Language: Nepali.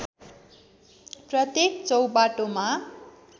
प्रत्येक चौबाटोमा